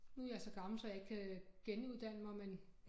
Nu jeg så gammel så jeg ikke kan genuddanne mig men